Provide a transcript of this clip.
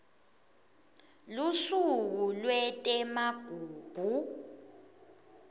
lusuku lwetemagugu